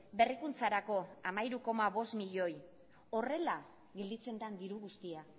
berrikuntzarako hamairu koma bost miloi horrela gelditzen den diru guztia